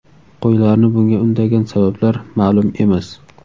Qo‘ylarni bunga undagan sabablar ma’lum emas.